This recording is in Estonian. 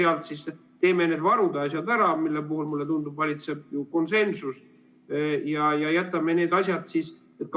Võtame ja teeme need varude asjad ära, mille puhul, mulle tundub, valitseb ju konsensus, ja jätame need teised asjad.